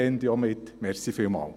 Helfen Sie dann auch mit.